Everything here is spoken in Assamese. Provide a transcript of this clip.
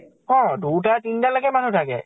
অ দুটা তিনটা লৈকে মানুহ থাকে।